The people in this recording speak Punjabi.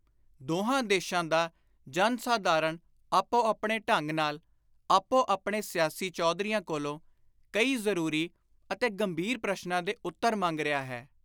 ਦੋਹਾਂ ਦੇਸ਼ਾਂ ਦਾ ਜਨ-ਸਾਧਾਰਣ ਆਪੋ ਆਪਣੇ ਢੰਗ ਨਾਲ, ਆਪੋ ਆਪਣੇ ਸਿਆਸੀ ਚੌਧਰੀਆਂ ਕੋਲੋਂ ਕਈ ਜ਼ਰੂਰੀ ਅਤੇ ਗੰਭੀਰ ਪ੍ਰਸ਼ਨਾਂ ਦੇ ਉੱਤਰ ਮੰਗ ਰਿਹਾ ਹੈ।